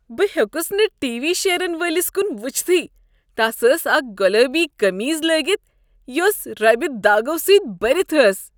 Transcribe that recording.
بہٕ ہیوٚکس نہٕ ٹی وی شیرن وٲلس کن وٕچھتھٕے۔ تس ٲس اکھ گُلٲبۍ قمیض لٲگتھ یۄس ربہ داغو سۭتۍ بٔرتھ ٲس۔